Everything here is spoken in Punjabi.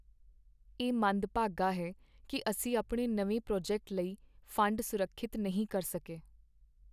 ਇਹ ਮੰਦਭਾਗਾ ਹੈ ਕਿ ਅਸੀਂ ਆਪਣੇ ਨਵੇਂ ਪ੍ਰੋਜੈਕਟ ਲਈ ਫੰਡ ਸੁਰੱਖਿਅਤ ਨਹੀਂ ਕਰ ਸਕੇ।